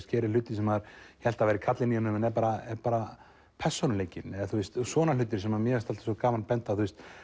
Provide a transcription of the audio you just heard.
gerir hluti sem maður hélt að væri kallinn í honum en er bara bara persónuleikinn svona hlutir sem mér finnst gaman að benda á